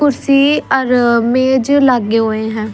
कुर्सी अर मेज लागे होये ह।